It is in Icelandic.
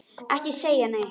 Ekki segja neitt!